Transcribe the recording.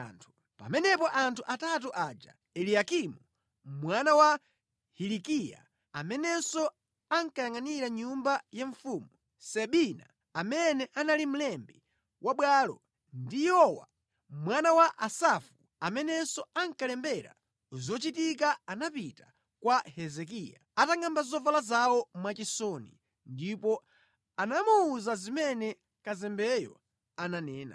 Pamenepo anthu atatu aja Eliyakimu, mwana wa Hilikiya amene ankayangʼanira nyumba ya mfumu; Sebina mlembi wa bwalo; ndi Yowa, mwana wa Asafu mlembi wa zochitika anapita kwa Hezekiya atangʼamba zovala zawo ndipo anamuwuza zonse zimene anayankhula kazembe uja.